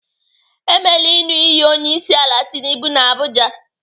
Emela ịṅụ iyi onyeisiala Tinubu n'Abuja.